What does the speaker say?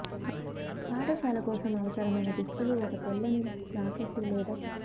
పాఠశాల కోసం అవసరమైన దుస్తులు ఒక తెల్లని జాకెట్టు లేదా చొక్కా